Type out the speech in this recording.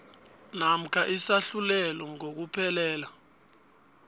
namkha isahlulelo ngokuphelela